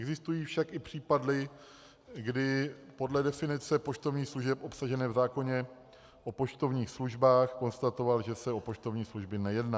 Existují však i případy, kdy podle definice poštovních služeb obsažené v zákoně o poštovních službách konstatoval, že se o poštovní služby nejedná.